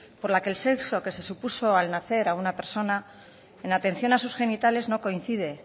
por la que el sexo que se supuso al nacer a una persona en atención a sus genitales no coincide